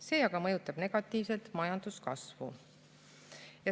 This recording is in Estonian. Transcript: See aga mõjutab negatiivselt majanduskasvu.